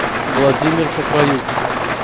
владимир шахраюк